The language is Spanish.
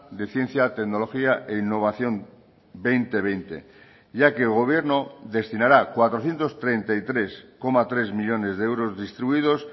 de ciencia tecnología e innovación dos mil veinte ya que el gobierno destinará cuatrocientos treinta y tres coma tres millónes de euros distribuidos